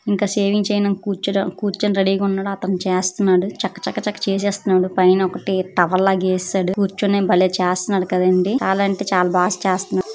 ఇంకా షేవింగ్ చేయటం కూర్చోట కూర్చోని రెడీ గా ఉన్నాడు. అతను చేస్తున్నాడు. చకచక చేసేస్తున్నాడు. పైన ఒకటి టవల్ లాగా ఎసేసాడు. కూర్చోని భలే చేస్తున్నాడు కదండి. చాలా అంటే చాలా బాగా చేస్తున్నాడు.